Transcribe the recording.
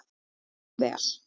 Far þú vel.